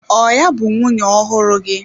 Ọ ya bụ nwunye ọhụrụ gị?